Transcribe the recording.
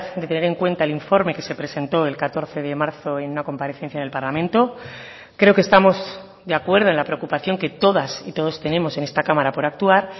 de tener en cuenta el informe que se presentó el catorce de marzo en una comparecencia del parlamento creo que estamos de acuerdo en la preocupación que todas y todos tenemos en esta cámara por actuar